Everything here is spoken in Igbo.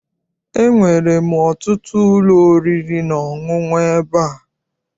Enwere ọtụtụ ụlọ oriri na ọṅụṅụ n'ebe a.